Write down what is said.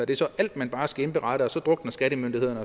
det så alt man bare skal indberette og så drukner skattemyndighederne